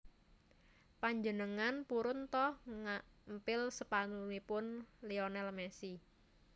Panjenengan purun to ngampil sepatunipun Lionel Messi